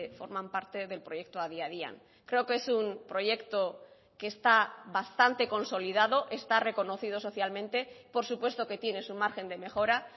forman parte del proyecto adi adian creo que es un proyecto que está bastante consolidado está reconocido socialmente por supuesto que tiene su margen de mejora